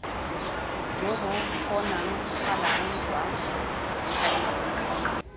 jo bo kgonagalang jwa gems